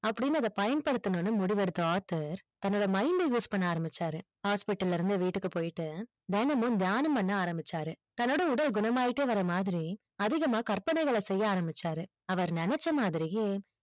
அப்டின்னு அதை பயன்படுத்தனும் முடிவு எடுத்த author தன்னுடைய mind use பண்ண ஆரம்பிச்சாரு hospital இருந்து வீட்டுக்கு போயிட்டு தினமும் தியானம் பண்ண ஆரம்பிச்சாரு தன்னோட உடல் குணமாயிட்ட வர மாதிரி அதிகமா கற்பனைகள் செய்ய ஆரம்பிச்சாரு அவர் நெனைச்சா மாதிரியே